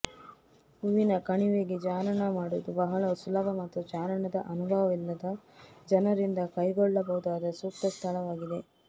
ಹೂವಿನ ಕಣಿವೆಗೆ ಚಾರಣ ಮಾಡುವುದು ಬಹಳ ಸುಲಭ ಮತ್ತು ಚಾರಣದ ಅನುಭವವಿಲ್ಲದ ಜನರಿಂದ ಕೈಗೊಳ್ಳಬಹುದಾದ ಸೂಕ್ತ ಸ್ಥಳವಾಗಿದೆ